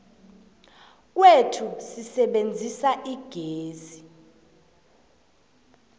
kwethu sisebenzisa igezi